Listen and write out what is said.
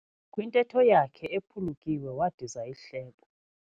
Kwintetho yakhe uphulukiwe wadiza ihlebo.